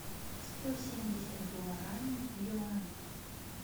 сто семьдесят гуарани в юанях